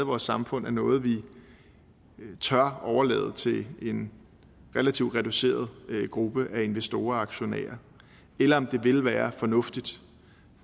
vores samfund er noget vi tør overlade til en relativt reduceret gruppe af investorer og aktionærer eller om det ville være fornuftigt